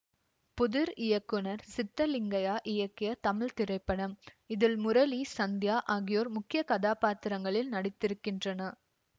புதிர் இயக்குனர் சித்தலிங்கையா இயக்கிய தமிழ் திரைப்படம் இதில் முரளி சந்தியா ஆகியோர் முக்கிய கதாபாத்திரங்களில் நடித்திருக்கின்றனர்